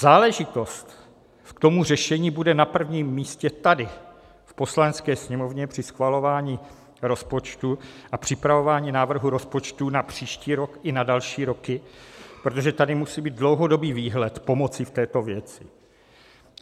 Záležitost k tomu řešení bude na prvním místě tady v Poslanecké sněmovně při schvalování rozpočtu a připravování návrhu rozpočtu na příští rok i na další roky, protože tady musí být dlouhodobý výhled pomoci v této věci.